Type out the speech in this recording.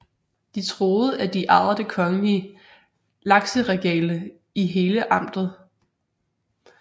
De troede at de ejede det kongelige lakseregale i hele amtet